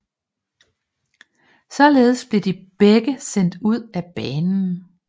Således blev de begge sendt ud af banen